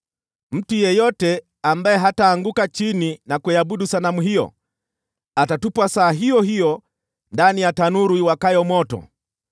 Mtu yeyote ambaye hataanguka chini na kuiabudu sanamu hiyo, atatupwa saa iyo hiyo ndani ya tanuru iwakayo moto.”